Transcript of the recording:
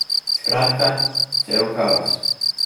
Skratka, cel kaos.